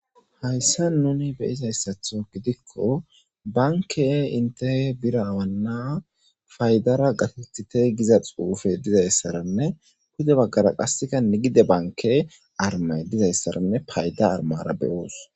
hayssa nuni beyizayssatho gidikko banke inte bira awanna paydara gatethite giza xuufe dizayssaranne pude baggara qassika nigide banke armay dizayssaranne payda armara beyoos